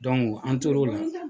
an tor'o la